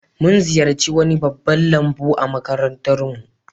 Mun ziyarci wani babban lambu a makarantar mu